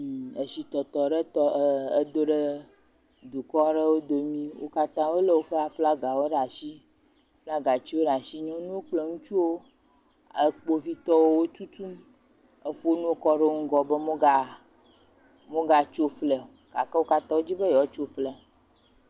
Edzitɔtɔ ɖe tɔ edo ɖe dukɔ aɖewo domi, wo katã wolé woƒe aflagawo ɖe atsi flagatsiwo ɖe atsi. Nyɔnuwo kple ŋutsuwo e kpovitɔwo wo tutum efo ŋuwo kɔ ɖe wo ŋgɔ be moga mogatso flia o gake wo katã wodi be yewotso flia.